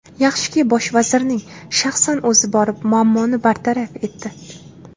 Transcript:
Yaxshiki, bosh vazirning shaxsan o‘zi borib muammoni bartaraf etdi.